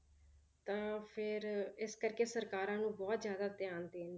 ਤਾਂ ਫਿਰ ਇਸ ਕਰਕੇ ਸਰਕਾਰਾਂ ਨੂੰ ਬਹੁਤ ਜ਼ਿਆਦਾ ਧਿਆਨ ਦੇਣ,